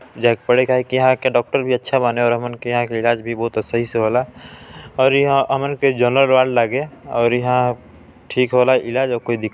जा यहाँ के डॉक्टर भी अच्छा बाने ओर हमन के यहाँ के इलाज भी बहुत सही से होला और यहाँ हमन के झललर और लागे और यहाँ ठीक हॉवे ला इलाज ओर कोई दिक--